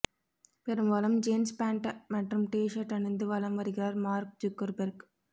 பெரும்பாலும் jeans pant மற்றும் T shirt அணிந்து வலம் வருகிறார் மார்க் ஜூக்கர்பெர்க்